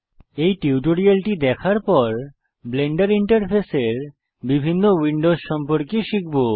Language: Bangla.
এই টিউটোরিয়ালটি দেখার পর আমরা ব্লেন্ডার ইন্টারফেসের বিভিন্ন উইন্ডোস সম্পর্কে শিখব